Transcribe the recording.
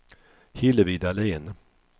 Hillevi Dahlén